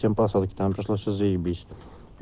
все посылки там пришлось заебись